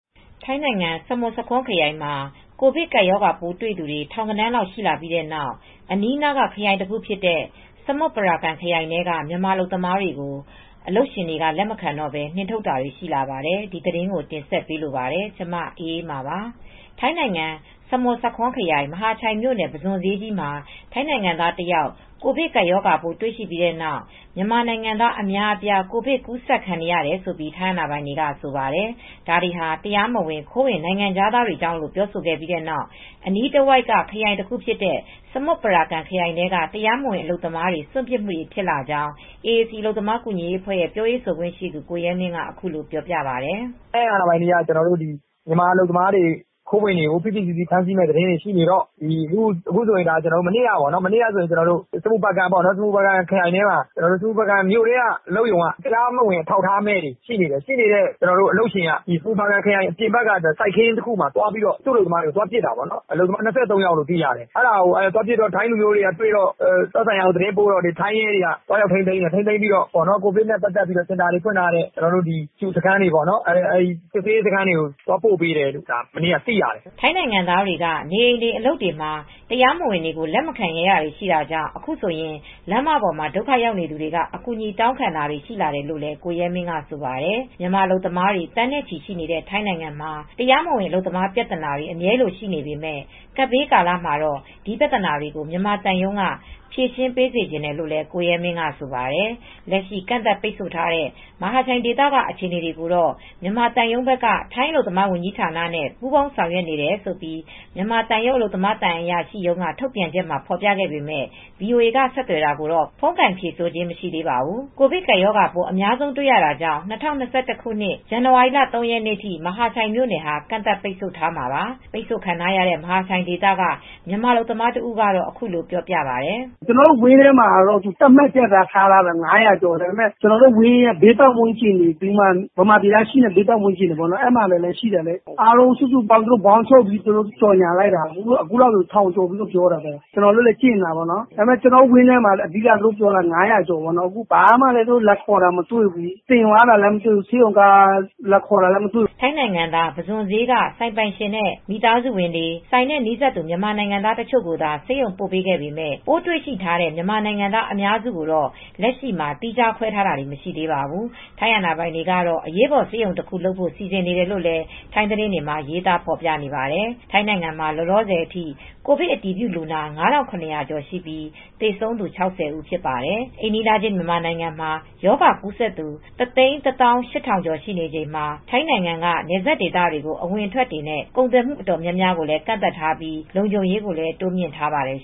ထိုင်းနိုင်ငံ စမွတ်ဆာခွန်းခရိုင်မှာ ကိုဗစ်ကပ်ရောဂါပိုးတွေ့တဲ့သူ ထောင်ဂဏန်းလောက်ရှိလာပြီးတဲ့နောက် အနီးအနားက ခရိုင်တခုဖြစ်တဲ့ စမွတ်ပရာကမ်ခရိုင်ထဲက မြန်မာ တရားမဝင်အလုပ်သမားတွေကို အလုပ်ရှင်တွေက လက်မခံတော့ဘဲ နှင်ထုတ်တာတွေရှိလာပါတယ် ဒီသတင်းကို တင်ဆက်ပေးလိုပါတယ်။ ဗွီအိုအေမြန်မာပိုင်း သတင်းထောက် မအေးအေးမာက သတင်းပေးပို့ထားပါတယ်။ ထိုင်းနိုင်ငံ စမွတ်ဆာခွန်းခရိုင် မဟာချိုင်မြို့နယ် ပုဇွန်ဈေးကြီးမှာ ထိုင်နိုင်ငံသား တယောက် ကိုဗစ်ကပ်ရောဂါပိုး တွေ့ရှိပြီးတဲ့နောက် မြန်မာနိုင်ငံသား အများအပြား ကိုဗစ်ကူးစက်ခံနေရတယ်လို့ ထိုင်းအာဏာပိုင်တွေက ဆိုပါတယ်။ ဒါတွေဟာ တရားမဝင်ခိုးဝင်နိုင်ငံခြားသားတွေကြောင့်လို့ ပြောဆိုခဲ့ပြီးတဲ့နောက် အနီးတဝိုက်က ခရိုင်တခုဖြစ်တဲ့ စမွတ်ပရာကမ်ခရိုင်ထဲမှာ တရားမဝင် အလုပ်သမားတွေ စွန့်ပစ်မှု ဖြစ်လာကြောင်း AAC အလုပ်သမားကူညီရေးအဖွဲ့ပြောရေးဆိုခွင့်ရှိသူ ကိုရဲမင်းက အခုလိုပြောပြပါတယ်။ "ထိုင်းအာဏာပိုင်တွေက မြန်မာအလုပ်သမားတွေ၊ ခိုးဝင်တွေကို ဖိဖိစီးစီး ဖမ်းဆီးမှုတွေရှိတော့ မနေ့တုန်းက စမွတ်ပရာကမ်ခရိုင်တခုထဲက မြို့ထဲက အလုပ်ရုံတခုက တရားမဝင်အလုပ်သမားတွေရှိနေတဲ့ အလုပ်ရှင်က တရားမဝင် အထောက်အထား အလုပ်သမားတွေရှိနေတော့ ခရိုင်ထဲက စိုက်ခင်းတခုမှာ သွားပစ်တာပေါ့။ အလုပ်သမား ၂၃ ယောက်လို့ သိရတယ်။ ဒါကို သိတော့ ထိုင်းလူမျိုးတွေက သတင်းပို့တော့ ထိုင်းရဲတွေက သွားရောက်ထိန်းသိမ်းတယ်။ ပြီးတော့ စောင့်ကြည့်ရေးစခန်းတွေကို ပို့လိုက်တယ်လို့ ကျနော်တို့ သိရပါတယ်။" ထိုင်းနိုင်ငံသားတွေက နေအိမ်တွေ အလုပ်တွေမှာ တရားမဝင်တွေကို လက်မခံရဲတာတွေရှိတာကြောင့်အခုဆိုရင် လမ်းပေါ်မှာ ဒုက္ခရောက်နေတဲ့သူတွေက အကူညီတောင်းခံတာတွေရှိလာတယ်လို့ ကိုရဲမင်းက ဆိုပါတယ်။ မြန်မာအလုပ်သမားတွေ သန်းနဲ့ချီ ရှိနေတဲ့ထိုင်းနိုင်ငံမှာ တရားမဝင်အလုပ်သမားပြဿနာတွေ အမြဲလိုရှိနေပေမဲ့ ကပ်ဘေးကာလမှာတော့ ဒီပြဿနာတွေကို မြန်မာသံရုံးက ဖြေရှင်းပေးစေချင်တယ်လို့လည်း ကိုရဲမင်းက ဆိုပါတယ်။ လက်ရှိ ကန့်သတ်ပိတ်ဆို့ထားတဲ့ မဟာချိုင်ဒေသက အခြေအနေတွေကိုတော့ မြန်မာသံရုံးဘက်က ထိုင်းအလုပ်သမားဝန်ကြီးဌာနဲ့ ပူးပေါင်းဆောင်ရွက်နေတယ်လို့ မြန်မာသံရုံးအလုပ်သမားသံအရာရှိရုံးရဲ့ ထုတ်ပြန်ချက်မှာ ဖော်ပြခဲ့ပေမဲ့ VOA က ဆက်သွယ်တာကိုတော့ ဖုန်းကိုင်ဖြေဆိုခြင်း မရှိသေးပါဘူး။ ကိုဗစ်ကပ်ရောဂါပိုး အများဆုံးတွေ့ရတာကြောင့် ၂၀၂၁ ခုနှစ် ဇန်နဝါရီလ ၃ ရက်နေ့ထိ မဟာချိုင်မြို့နယ် ကန့်သတ်ပိတ်ဆို့ထားတာပါ။ ပိတ်ဆို့ခံထားရတဲ့ မဟာချိုင်ဒေသက မြန်မာအလုပ်သမားတဦးကတော့ အခုလိုပြောပြပါတယ်။ "ကျနော်တို့ဝန်းထဲမှာ သတ်မှတ်ထားတာကတော့ အလုပ်သမား ၅၀၀ ကျော်ရှိတယ်ပြောတယ်။ ကျနော်တို့ဝန်းရဲ့ဘေးပတ်ဝန်းကျင် မြန်မာပြည်သားတွေရှိတာ အားလုံးပေါင်းချုပ်လိုက်တာအခု လူဦးရေ ၁,၀၀၀ ကျော်ရှိနေတယ်လို့သူတို့ကြေငြာတယ်။ ဒါပေမဲ့ ကျနော်တို့ဆီမှာ သူတို့ လာခေါ်တာလည်းမရှိဘူး။ ဆေးရုံကားနဲ့ တင်သွားတာလည်း မတွေ့ဘူး။" ထိုင်းနိုင်ငံသား ပုဇွန်ဈေးက ဆိုင်ပိုင်ရှင်နဲ့ မိသားစုဝင်တွေနဲ့ ဆိုင်နဲ့ နီးစပ်သူ မြန်မာနိုင်ငံသားတချို့ကိုသာဆေးရုံကို ပို့ခဲ့ပေမဲ့ ပိုးတွေ့ရှိထားတဲ့ မြန်မာနိုင်ငံသားအများစုကိုတော့ လက်ရှိမှာ သီးခြားခွဲထားတာတွေ မရှိသေးပါဘူး။ ထိုင်းအာဏာပိုင်တွေကတော့ အရေးပေါ်ဆေးရုံတခုလုပ်ဖို့ စီစဉ်နေတယ်လို့လည်း ထိုင်းသတင်းတွေမှာ ရေးသားဖော်ပြနေပါတယ်။ ထိုင်းနိုင်ငံမှာ လောလောဆယ်အထိ ကိုဗစ် အတည်ပြုလူနာ ၅,၇၀၀ ကျော်ရှိပြီး သေဆုံးသူ ၆၀ ဖြစ်ပါတယ်။ အိမ်နီးချင်းမြန်မာနိုင်ငံမှာ ရောဂါကူးစက်သူ ၁၁၈,၀၀၀ ကျော် ရှိနေချိန်မှာ ထိုင်းနိုင်ငံက နယ်စပ်ဒေသ အဝင်အထွက်တွေနဲ့ ကုန်သွယ်မှုတွေ တော်တော်များများကိုလည်း ကန့်သတ်ထားပြီး လုံခြုံရေးကိုလည်း တိုးမြှင့်ထားပါတယ်